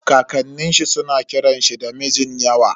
Kakanin shi suna kiran shi da Mijinyawa.